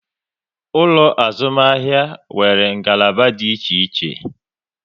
Ụlọ azụmahịa nwere ngalaba dị iche iche